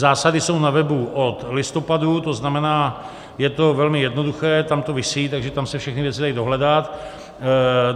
Zásady jsou na webu od listopadu, to znamená, je to velmi jednoduché, tam to visí, takže tam se všechny věci dají dohledat.